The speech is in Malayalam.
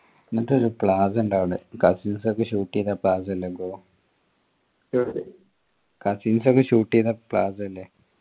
എന്നിട്ട് ഒരു plaza ഉണ്ട് അവിടെ cousins ഒക്കെ shoot എയ്ത plaza cousins ഒക്കെ shoot എയ്ത plaza ഇല്ലേ